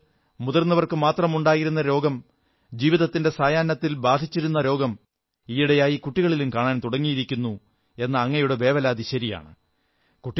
മുമ്പ് മുതിർന്നവർക്കുമാത്രമുണ്ടായിരുന്ന രോഗം ജീവിതത്തിന്റെ സായാഹ്നത്തിൽ ബാധിച്ചിരുന്ന രോഗം ഈയിടെയായി കുട്ടികളിലും കാണാൻ തുടങ്ങിയിരിക്കുന്നു എന്ന അങ്ങയുടെ വേവലാതി ശരിയാണ്